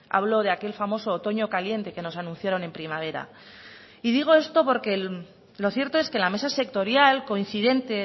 hablo de aquel famoso otoño caliente que nos anunciaron en primavera y digo esto porque lo cierto es que la mesa sectorial coincidente